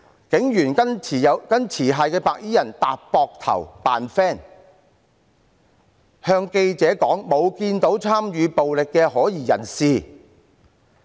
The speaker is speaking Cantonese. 警員跟持械的白衣人搭膊頭，狀甚友好，對記者說沒看到參與暴力活動的可疑人士。